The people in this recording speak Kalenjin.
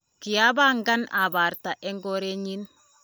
kiapangan abarta eng korenyin